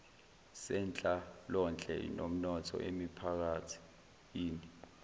zenhlalonhle nomnotho emiphakathini